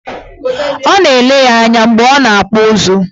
Ọ na-ele ya anya mgbe ọ na-akpụ ụzụ.